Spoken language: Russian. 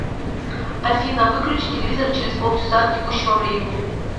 афина выключи телевизор через полчаса от текущего времени